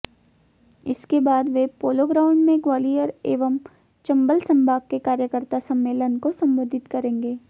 इसके बाद वे पोलोग्राउंड में ग्वालियर एवं चंबल संभाग के कार्यकर्ता सम्मेलन को संबोधित करेंगे